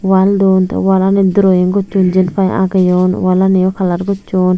wall dun te wallanot drowing gossung jin pai ageyoun wallani o colour gossun.